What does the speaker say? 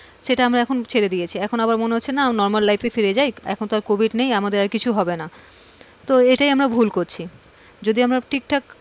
সেটা আমরা এখন ছেড়ে দিয়েছি এখন আবার মনে হচ্ছে না normal life এ ফিরে যাই, এখন তো আর covid নেই এখন তো আর কিছু হবে না, তো এটাই আমরা ভুল করছি। যদি আমরা ঠিকঠাক,